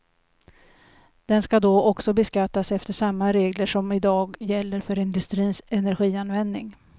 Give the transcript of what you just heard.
Den ska då också beskattas efter samma regler som i dag gäller för industrins energianvändning.